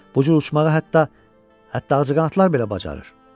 Bu cür uçmağa hətta hətta ağcaqanadlar belə bacarır.